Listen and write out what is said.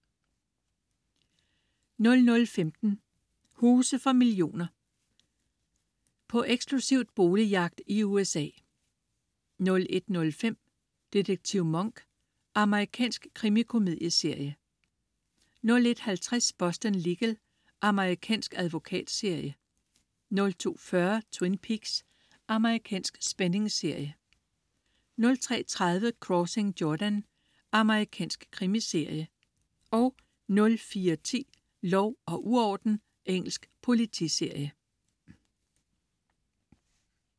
00.15 Huse for millioner. På eksklusiv boligjagt i USA 01.05 Detektiv Monk. Amerikansk krimikomedieserie 01.50 Boston Legal. Amerikansk advokatserie 02.40 Twin Peaks. Amerikansk spændingsserie 03.30 Crossing Jordan. Amerikansk krimiserie 04.10 Lov og uorden. Engelsk politiserie